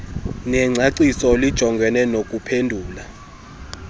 lengcaciso lijongene nokuphendula